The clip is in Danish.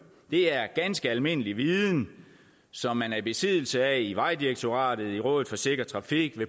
det er ganske almindelig viden som man er i besiddelse af i vejdirektoratet i rådet for sikker trafik